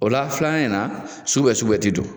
O la filanan in na sugu bɛ sugubɛ ti don